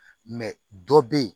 dɔ bɛ yen